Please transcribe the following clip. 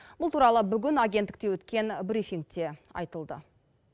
бұл туралы бүгін агенттікте өткен брифингте айтылды